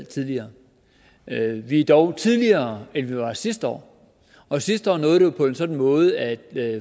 tidligere vi har dog tidligere end vi gjorde sidste år og sidste år nåede på en sådan måde at